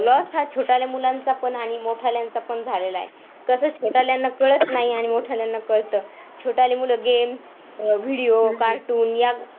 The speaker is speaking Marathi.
loss हा छोट्याले मुलांचापण आणि मोठाल्याचं पण झालेला हाय तसेच छोटाल्याना कळत नाही आणि मोठाल्याना काळात छोटाली मुलं game अह videocartoon या